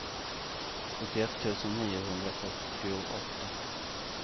sjuttioett tusen niohundrafyrtioåtta